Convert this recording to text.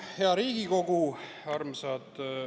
Hea Riigikogu!